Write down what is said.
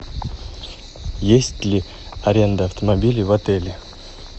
есть ли аренда автомобилей в отеле